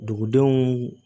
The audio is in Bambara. Dugudenw